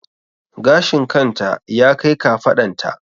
Gashin kan ta ya kai kafaɗan ta